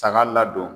Saga ladon